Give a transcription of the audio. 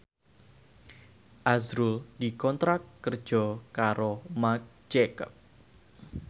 azrul dikontrak kerja karo Marc Jacob